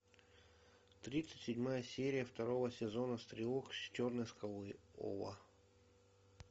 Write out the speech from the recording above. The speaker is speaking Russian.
тридцать седьмая серия второго сезона стрелок с черной скалы ова